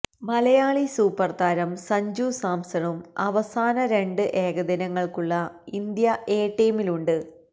Malayali super താരം സഞ്ജു സാംസണും അവസാന രണ്ട് ഏകദിനങ്ങൾക്കുള്ള ഇന്ത്യ എ ടീമിലുണ്ട്